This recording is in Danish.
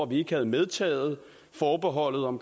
vi ikke havde medtaget forbeholdet om